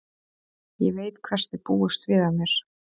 Ég veit hvers þið búist við af mér.